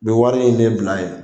U be wari in de bila yen